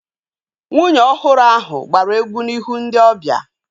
Nwunye ọhụrụ ahu gbara egwu n'ihu ndị ọbịa